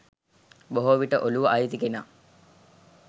බොහෝ විට ඔලුව අයිති කෙනා